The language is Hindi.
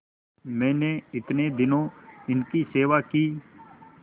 मैंने इतने दिनों इनकी सेवा की